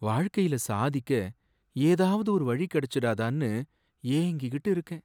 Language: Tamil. வாழ்க்கையில சாதிக்க ஏதாவது ஒரு வழி கிடைச்சுடாதான்னு ஏங்கிக்கிட்டு இருக்கேன்.